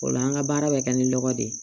O la an ka baara bɛ kɛ ni lɔgɔ de ye